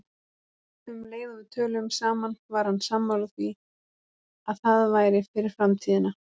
Um leið og við töluðum saman var hann sammála því að það væri fyrir framtíðina.